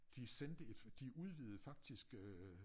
De sendte et de udvidede faktisk øh